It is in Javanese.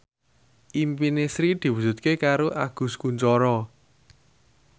impine Sri diwujudke karo Agus Kuncoro